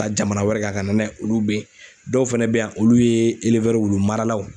Ka jamana wɛrɛ kan ka na n'a ye. olu be yen. Dɔw fɛnɛ be yan olu ye wulu maralaw.